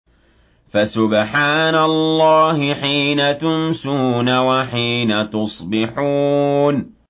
فَسُبْحَانَ اللَّهِ حِينَ تُمْسُونَ وَحِينَ تُصْبِحُونَ